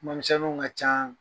kumamisɛnninw ka can